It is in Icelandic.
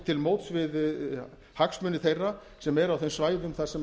til móts við hagsmuni þeirra sem eru á þeim svæðum þar sem